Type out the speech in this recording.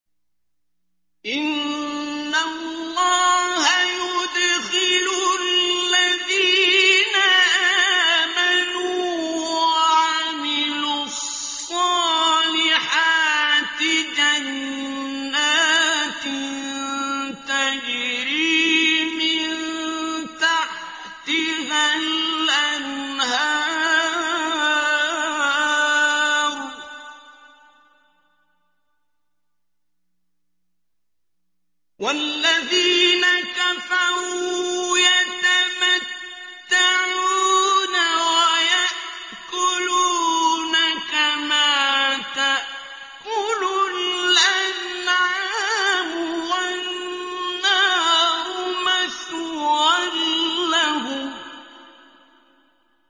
إِنَّ اللَّهَ يُدْخِلُ الَّذِينَ آمَنُوا وَعَمِلُوا الصَّالِحَاتِ جَنَّاتٍ تَجْرِي مِن تَحْتِهَا الْأَنْهَارُ ۖ وَالَّذِينَ كَفَرُوا يَتَمَتَّعُونَ وَيَأْكُلُونَ كَمَا تَأْكُلُ الْأَنْعَامُ وَالنَّارُ مَثْوًى لَّهُمْ